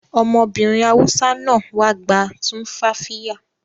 Ọmọbìnrin Hausa náà wá gba tumfafiya